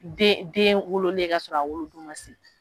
Den den wololen ye kasɔrɔ a wolodon ma se